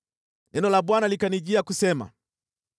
Neno la Bwana likanijia kusema: